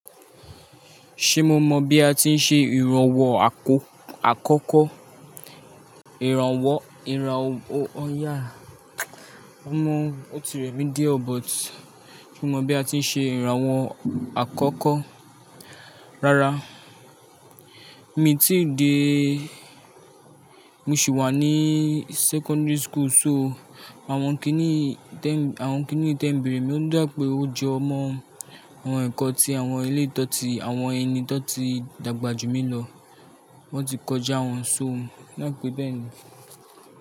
Ṣé mo mọ bi a ti ń ṣe ìrànwọ́ akọ, àkọ́kọ́? Ìrànwọ́, ìrànwọ́, o yà, mo mọ otiremi de o but, mo mọ bi a ti ń ṣe ìrànwọ́ àkọ́kọ́. Rárá, mi ti di, mo sì wà ní secondary school so, àwọn kíní tẹ, àwọn kíní tẹ ń bèrè mí o dà pé ó jo mo. Àwọn ẹ̀kọ́ tí àwọn ilé to tí àwọn ẹni tọ̀ ti dàgbà jù mí lọ. Wọ́n ti kọjá wọn so, o dape bẹ́ẹ̀ ni.